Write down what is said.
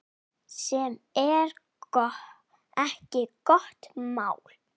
Sem er ekki gott mál.